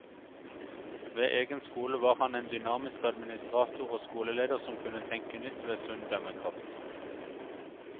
Ved egen skole var han en dynamisk administrator og skoleleder som kunne tenke nytt med sunn dømmekraft.